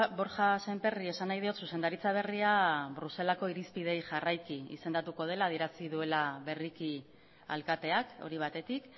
borja sémperri esan nahi diot zuzendaritza berria bruselaseko irizpideei jarraiki izendatuko dela adierazi duela berriki alkateak hori batetik